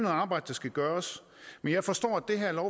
arbejde der skal gøres men jeg forstår at det her